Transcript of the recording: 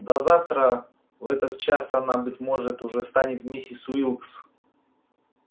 да завтра в этот час она быть может уже станет миссис уилкс